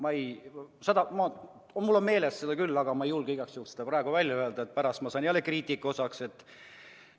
Õigemini mul on meeles küll, aga ma igaks juhuks ei julge seda praegu välja öelda, pärast saan jälle kriitika osaliseks.